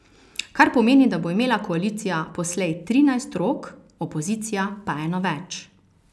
Kar pomeni, da bo imela koalicija poslej trinajst rok, opozicija pa eno več.